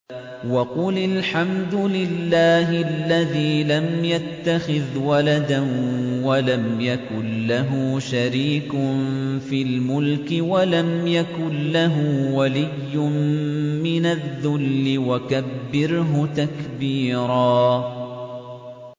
وَقُلِ الْحَمْدُ لِلَّهِ الَّذِي لَمْ يَتَّخِذْ وَلَدًا وَلَمْ يَكُن لَّهُ شَرِيكٌ فِي الْمُلْكِ وَلَمْ يَكُن لَّهُ وَلِيٌّ مِّنَ الذُّلِّ ۖ وَكَبِّرْهُ تَكْبِيرًا